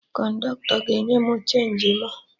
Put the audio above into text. Kọndọktọ ga enye mụ chenji mụ